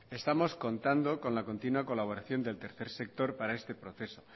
estamos contando con la continua colaboración del tercer sector para este proceso